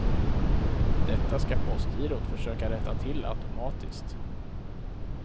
Detta ska postgirot försöka rätta till automatiskt.